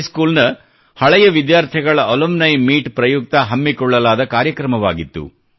high school ನ ಹಳೆಯ ವಿದ್ಯಾರ್ಥಿಗಳ ಅಲುಮ್ನಿ ಮೀಟ್ ಪ್ರಯುಕ್ತ ಹಮ್ಮಿಕೊಳ್ಳಲಾದ ಕಾರ್ಯಕ್ರಮವಾಗಿತ್ತು